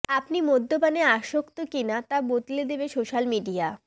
আপনি মদ্যপানে আসক্ত কিনা তা বাতলে দেবে স্যোশাল মিডিয়া